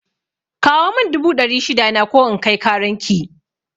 Kawo mun dubu dari shida na ko in kai karan ki